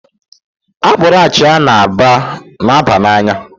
Akpụrụ achia na-aba n'anya